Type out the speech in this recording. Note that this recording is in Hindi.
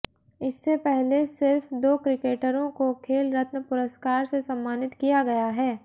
इससे पहले सिर्फ़ दो क्रिकेटरों को खेल रत्न पुरस्कार से सम्मानित किया गया है